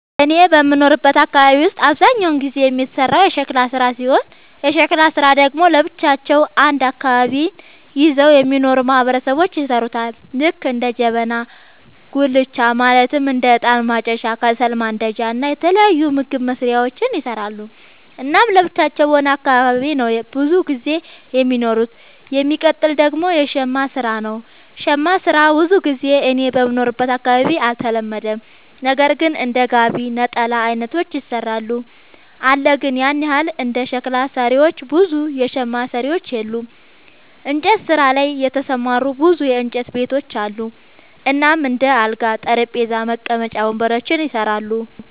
እኔ በምኖርበት አካባቢ ውስጥ አብዛኛውን ጊዜ የሚሰራው የሸክላ ስራ ሲሆን የሸክላ ስራ ደግሞ ለብቻቸው አንድ አካባቢን ይዘው የሚኖሩ ማህበረሰቦች ይሠሩታል ልክ እንደ ጀበና፣ ጋቻ ማለትም እንደ እጣን ማጨሻ፣ ከሰል ማንዳጃ እና የተለያዩ ምግብ መስሪያዎችን ይሰራሉ። እናም ለብቻቸው በሆነ አካባቢ ነው ብዙም ጊዜ የሚኖሩት። የሚቀጥል ደግሞ የሸማ ስራ ነው, ሸማ ስራ ብዙ ጊዜ እኔ በምኖርበት አካባቢ አልተለመደም ነገር ግን እንደ ጋቢ፣ ነጠላ አይነቶችን ይሰራሉ አለ ግን ያን ያህል እንደ ሸክላ ሰሪዎች ብዙ የሸማ ሰሪዎች የሉም። እንጨት ስራ ላይ የተሰማሩ ብዙ የእንጨት ቤቶች አሉ እናም እንደ አልጋ፣ ጠረጴዛ፣ መቀመጫ ወንበሮችን ይሰራሉ።